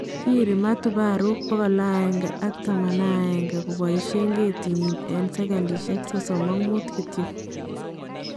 Kiiri matobaruuk 111 kobaishe ketinyii eng. sekendishek 35 kityo